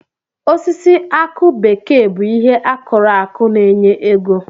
Osisi akụ bekee bụ ihe akụrụ akụ na-enye ego.